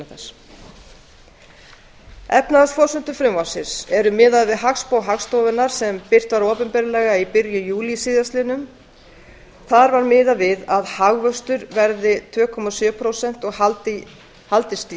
þess efnahagsforsendur frumvarpsins eru miðaðar við hagspá hagstofunnar sem birt var opinberlega í byrjun júlí síðast liðnum þar er miðað við að hagvöxtur verði tvö komma sjö prósent og haldist